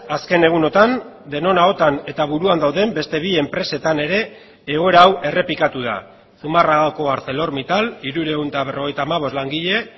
azken egunotan denon ahotan eta buruan dauden beste bi enpresetan ere egoera hau errepikatu da zumarragako arcelormittal hirurehun eta berrogeita hamabost langile